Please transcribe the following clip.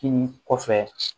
Kinin kɔfɛ